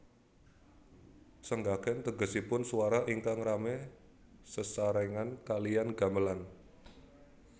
Senggakan tegesipun swara ingkang rame sesarengan kaliyan gamelan